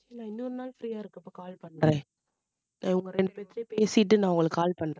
நான் இன்னொருநாள் free யா இருக்கப்போ call பண்றேன் அஹ் இவங்க ரெண்டு பேர் கிட்டயுமே பேசிட்டு நான் உங்களுக்கு call பண்றேன்